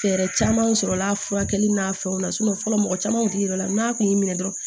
Fɛɛrɛ caman sɔrɔla furakɛli n'a fɛnw na fɔlɔ mɔgɔ caman kun ti yɔrɔ la n'a kun y'i minɛ dɔrɔn